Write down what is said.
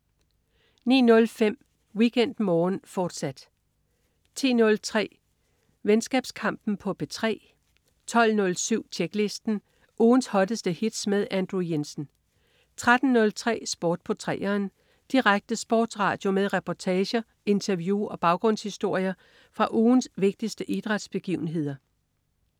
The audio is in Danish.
09.05 WeekendMorgen, fortsat 10.03 Venskabskampen på P3 12.07 Tjeklisten. Ugens hotteste hits med Andrew Jensen 13.03 Sport på 3'eren. Direkte sportsradio med reportager, interview og baggrundshistorier fra ugens vigtigste idrætsbegivenheder